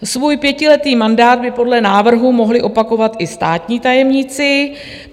Svůj pětiletý mandát by podle návrhu mohli opakovat i státní tajemníci.